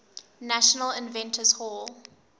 national inventors hall